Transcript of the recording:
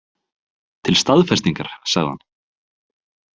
Til staðfestingar, sagði hann.